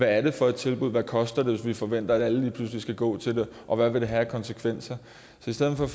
er det for tilbud hvad koster det hvis vi forventer at alle lige pludselig skal gå til det og hvad vil det have af konsekvenser så i stedet for